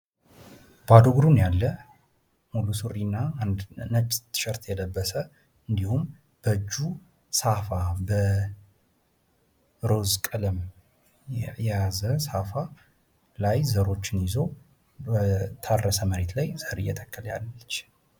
ባዶ እግሩን ያለ ሙሉ ሱሪ እና ነጭ ቲሸርት የለበሰ እንዲሁም በእጁ ሳፋ በሮዝ ቀለም የያዘ ሳፋ ላይ ዘሮችን ይዞ በታረስ መሬት ላይ ዘር እየተከለ ያለ ነው።